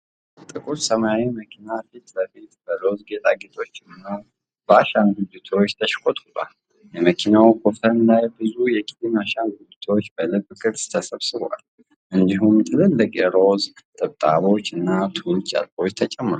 ጥቁር ሰማያዊ መኪና ፊት ለፊት በሮዝ ጌጣጌጦች እና በአሻንጉሊቶች ተሽቆጥቁጧል። የመኪናው ኮፈን ላይ ብዙ የኪቲ አሻንጉሊቶች በልብ ቅርጽ ተሰብስበው፣ እንዲሁም ትልልቅ የሮዝ ጥብጣቦች እና ቱል ጨርቆች ተጨምረዋል።